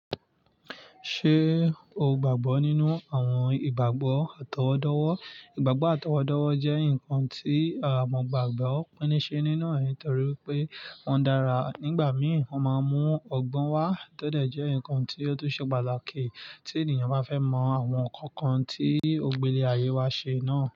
Ṣé ogbagbo nínú àwọn ìgbàgbọ́ àtọwọ́dọ́wọ́. Ìgbàgbọ́ àtọwọ́dọ́wọ́ je ǹkan ti mo gbàgbọ́ no ni ṣe nínú re nítorí wípé won dára. Nígbà mí, wọ́n máa ń mú ọgbọ́n wá, tọ́dẹ̀ jẹ́ ǹkan tí ó tún ṣe pàtàkì tí ènìyàn bá fẹ́ mọ àwọn ǹkan kan tí ògbélé ayé wa ṣe náà.